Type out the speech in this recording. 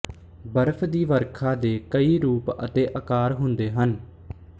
ਬਰਫ਼ ਦੀ ਵਰਖਾ ਦੇ ਕਈ ਰੂਪ ਅਤੇ ਅਕਾਰ ਹੁੰਦੇ ਹਨ